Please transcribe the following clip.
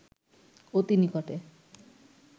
অতি নিকটে